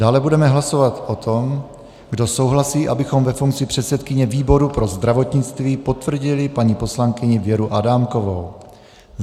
Dále budeme hlasovat o tom, kdo souhlasí, abychom ve funkci předsedkyně výboru pro zdravotnictví potvrdili paní poslankyni Věru Adámkovou.